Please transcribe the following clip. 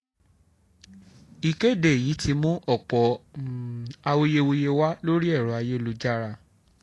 ìkéde yìí ti mú ọ̀pọ̀ awuyewuye wá lórí ẹ̀rọ ayélujára